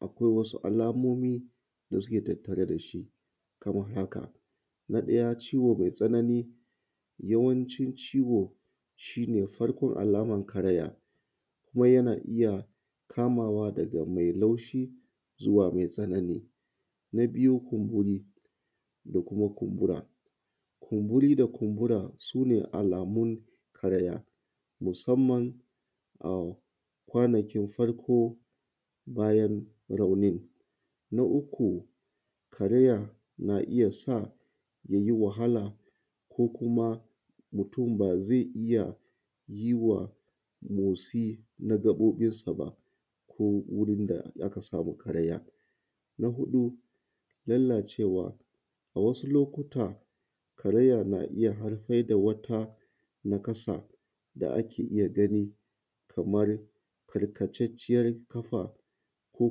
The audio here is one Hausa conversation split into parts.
akwai wasu alamomi da suke tattare da shi kamar haka; Na ɗaya ciwo mai tsanani, yawancin ciwo shi ne farkon alamar karaya kuma yana iya kamawa daga mai laushi zuwa mai tsanani. Na biyu kumburi da kuma kumbura, kumburi da kuma kumbura su ne alamun karaya, musamman a kwanakin farko bayan raunin. Na uku, karaya na iya sa ya yi wahala ko kuma mutum ba zai iya yi wa motsi na gaɓoɓinsa ba ko wurin da aka samu karaya. Na huɗu lallacewa, a wasu lokuta, karaya na iya haifar da wata nakasa da ake iya gani kamar karkatacciyar ƙafa ko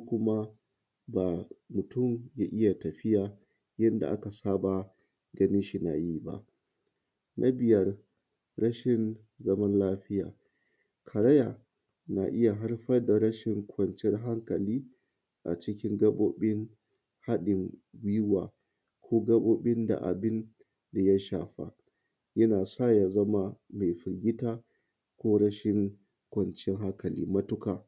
kuma ba mutum ya iya tafiya yanda aka saba ganinshi na yi ba. Na biyar rashin zaman lafiya, karaya na iya haifar da rashin kwanciyar hankali a cikin gaɓoɓin haɗin gwiwa ko gaɓoɓin da abin ya shafa, yana sa ya zama mai firgita ko rashin kwanciyar hankali matuƙa.